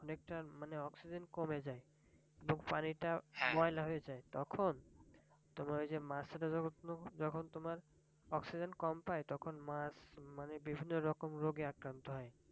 অনেকটা মানে অক্সিজেন কমে যায় নদীর পানি টা ময়লা হয়ে যায় তখন তোমার ওই যে মাছেরা যখন তোমার অক্সিজেন কম পায় তখন মাছ মানে বিভিন্ন রকম রোগে আক্রান্ত হয়,